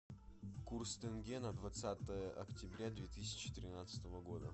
курс тенге на двадцатое октября две тысячи тринадцатого года